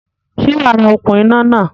Sé wàá ra okún iná náà?